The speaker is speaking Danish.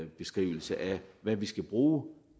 beskrivelse af hvad vi skal bruge